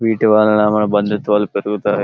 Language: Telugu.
వీటి వల్లన మన బంధుత్యాలు పెరుగుతాయి.